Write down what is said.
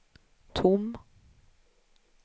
tom